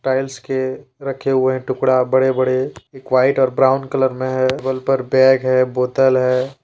Tiles के रखे हुए हैं टुकड़ा बड़े बड़े एक व्हाइट और ब्राउन कलर में है टेबल पर बैग है बोतल है।